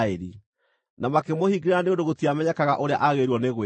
na makĩmũhingĩra nĩ ũndũ gũtiamenyekaga ũrĩa agĩrĩirwo nĩ gwĩkwo.